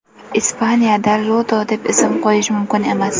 Ispaniyadada Iuda deb ism qo‘yish mumkin emas.